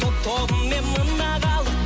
топ тобымен мына халық